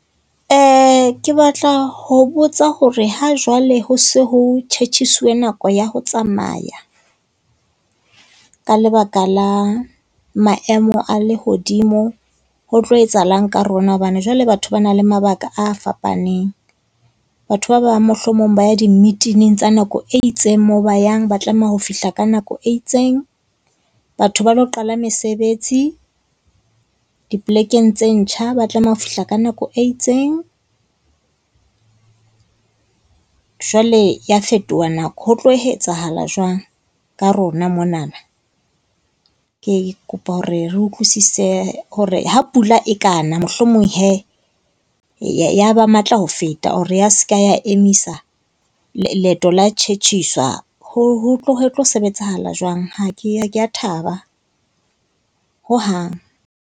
Ke batla ho botsa hore hajwale ho se ho tjhetjhisiwe nako ya ho tsamaya ka lebaka la maemo a lehodimo ho tlo etsahalang ka rona? Hobane jwale batho ba nang le mabaka a fapaneng. Batho ba bang mohlomong ba ya di-meet-ining tsa nako e itseng, moo ba yang ba tlameha ho fihla ka nako e itseng. Batho ba lo qala mesebetsi, dipolekeng tse ntjha, ba tlameha ho fihla ka nako e itseng. Jwale ya fetoha nako, ho tlo hetsahala jwang ka rona monana? Ke kopa hore re utlwisise hore ha pula e ka na, mohlomong hee, ya ya ba matla ho feta or ya se ka emisa leeto la tjhetjhiswa. Ho tlo sebetsahala jwang? Ha ke ha ke a thaba, hohang.